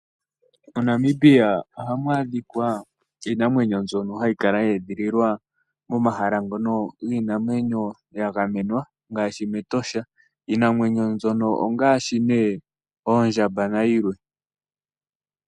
MoNamibia ohamu adhika iinamwenyo mbyono hayi kala yeedhililwa momahala ngono giinamwenyo ya gamenwa ngaashi metosha. Iinamwenyo mbyono ongaashi nee oondjaba na yilwe.